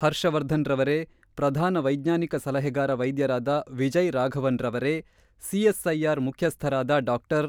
ಹರ್ಷವರ್ಧನ್ ರವರೇ ಪ್ರಧಾನ ವೈಜ್ಞಾನಿಕ ಸಲಹೆಗಾರ ವೈದ್ಯರಾದ ವಿಜಯ್ ರಾಘವನ್ ರವರೇ ಸಿಎಸ್ಐಆರ್ ಮುಖ್ಯಸ್ಥರಾದ ಡಾ.